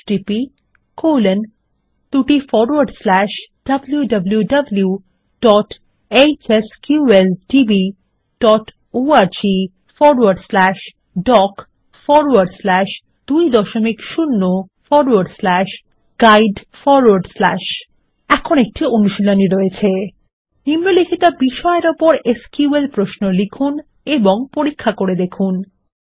Httpwwwhsqldborgdoc20guide এখন একটি অনুশীলনী রয়েছে160 নিম্নলিখিত বিষয়ের ওপর এসকিউএল প্রশ্নও লিখুন এবং পরীক্ষা করে দেখুন160 1